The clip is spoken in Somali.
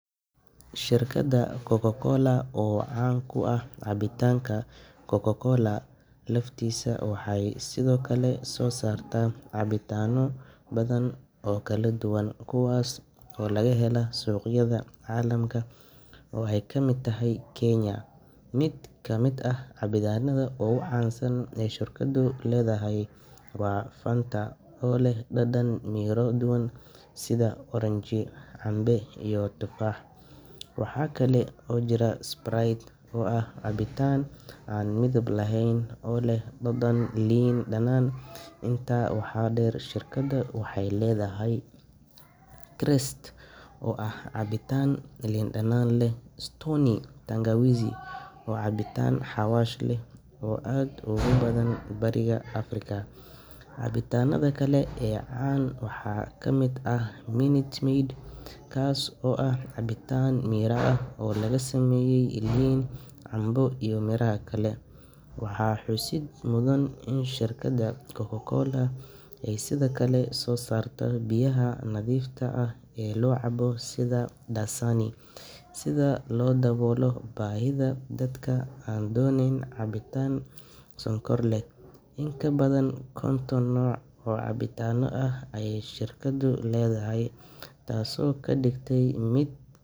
Shirkadda Coca-Cola oo caan ku ah cabitaanka Coca-Cola laftiisa, waxay sidoo kale soo saartaa cabitaanno badan oo kala duwan kuwaas oo laga helo suuqyada caalamka oo ay ka mid tahay Kenya. Mid ka mid ah cabitaannada ugu caansan ee ay shirkaddu leedahay waa Fanta, oo leh dhadhan miro kala duwan sida oranji, canbe, iyo tufaax. Waxaa kale oo jira Sprite, oo ah cabitaan aan midab lahayn oo leh dhadhan liin dhanaan ah. Intaa waxaa dheer, shirkaddu waxay leedahay Krest oo ah cabitaan liin dhanaan leh, iyo Stoney Tangawizi oo ah cabitaan xawaash leh oo aad ugu badan Bariga Afrika. Cabitaannada kale ee caan ah waxaa ka mid ah Minute Maid, kaas oo ah cabitaan miro ah oo laga sameeyay liin, canbe, iyo miraha kale. Waxaa xusid mudan in shirkadda Coca-Cola ay sidoo kale soo saarto biyaha nadiifta ah ee la cabo sida Dasani, si loo daboolo baahida dadka aan doonayn cabitaan sonkor leh. In ka badan konton nooc oo cabitaanno ah ayay shirkaddu leedahay, taasoo ka dhigaysa mid.